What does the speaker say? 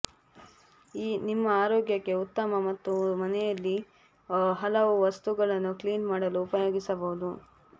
ನಿಮ್ಮ ಆರೋಗ್ಯಕ್ಕೆ ಉತ್ತಮ ಮತ್ತು ಮನೆಯಲ್ಲಿ ಹಲವು ವಸ್ತುಗಳನ್ನೂ ಕ್ಲಿನ್ ಮಾಡಲು ಉಪಯೋಗಿಸಬಹುದು